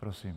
Prosím.